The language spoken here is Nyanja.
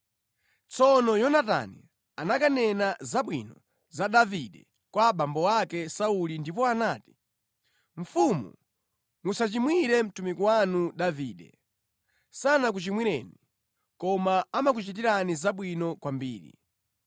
Tsono Yonatani anakanena zabwino za Davide kwa abambo ake Sauli ndipo anati, “Mfumu musachimwire mtumiki wanu Davide, sanakuchimwireni, koma amakuchitirani zabwino kwambiri.